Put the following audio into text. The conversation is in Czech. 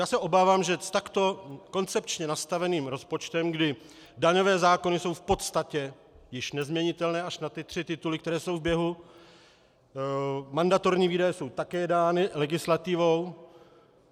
Já se obávám, že s takto koncepčně nastaveným rozpočtem, kdy daňové zákony jsou v podstatě již nezměnitelné až na ty tři tituly, které jsou v běhu, mandatorní výdaje jsou také dány legislativou.